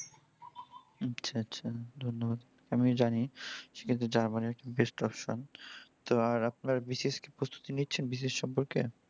আচ্ছা আচ্ছা ধন্যবাদ। আমি জানি সেক্ষেত্রে জাপানই best option । তো আর আপনার বিশেষ কি প্রস্তুতি নিচ্ছেন? বিশেষ সম্পর্কে?